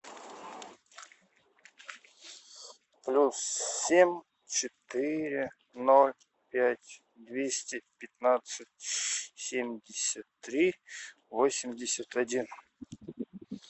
плюс семь четыре ноль пять двести пятнадцать семьдесят три восемьдесят один